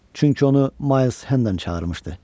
Çünki onu Mayls Hendon çağırmışdı.